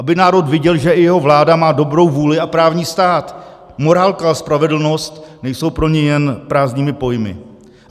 Aby národ viděl, že i jeho vláda má dobrou vůli a právní stát, morálka a spravedlnost nejsou pro ni jen prázdnými pojmy.